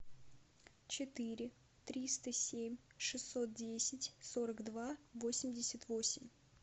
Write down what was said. четыре триста семь шестьсот десять сорок два восемьдесят восемь